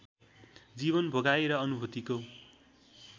जीवन भोगाइ र अनुभूतिको